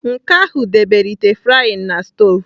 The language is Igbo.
Nke ahụ debere ite frying na stovu